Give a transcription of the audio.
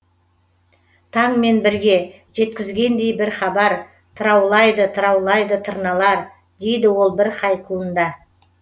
таңмен бірге жеткізгендей бір хабар тыраулайды тыраулайды тырналар дейді ол бір хайкуында